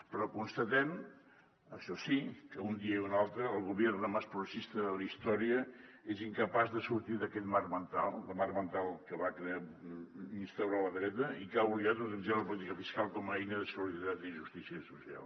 però constatem això sí que un dia i un altre el gobierno más progresista de la història és incapaç de sortir d’aquest marc mental del marc mental que va instaurar la dreta i que ha oblidat d’utilitzar la política fiscal com a eina de solidaritat i justícia social